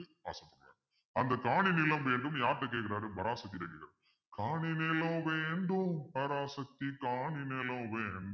அந்த காணி நிலம் வேண்டும்ன்னு யார்கிட்ட கேக்குறாரு பராசக்தி கிட்ட கேக்குறாரு காணி நிலம் வேண்டும் பராசக்தி காணி நிலம் வேண்டும்